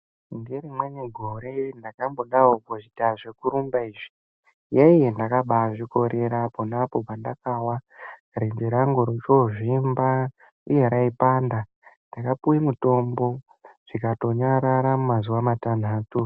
Ngerimweni gore ndakambodawo kuita zvekurumba izvi. Yee ndakabaazvikorera, ponapo pandakawa ibvi rangu rikazvimba uye raipanda. Ndakapuwe mitombo ,rikatonyarara mumazuwa matanhatu.